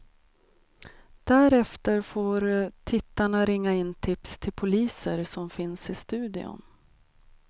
Därefter får tittarna ringa in tips till poliser som finns i studion.